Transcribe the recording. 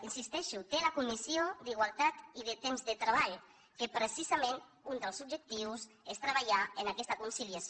hi insisteixo té la comissió d’igualtat i de temps de treball en què precisament un dels objectius és treballar en aquest conciliació